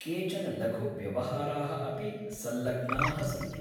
केचन लघुव्यवहाराः अपि सल्लग्नाः सन्ति